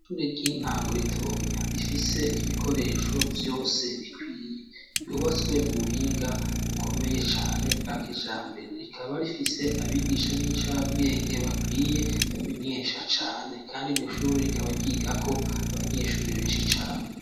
Ture ry'intango ritoya rifise ibikoresho vyose bikwiye yubatswe mu buhinga ukomeye cane bwa kija mbere rikaba rifise abigisha b'incabwenge bakwiye bamenyesha cane, kandi iryo shure rikaba ryigako abanyeshuri benshi cane.